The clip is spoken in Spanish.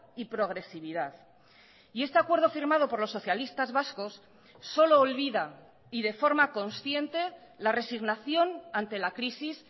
y progresividad y este acuerdo firmado por los socialistas vascos solo olvida y de forma consciente la resignación ante la crisis